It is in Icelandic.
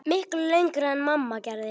Miklu lengra en mamma gerði.